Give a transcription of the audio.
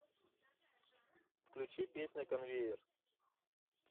включи песня конвейер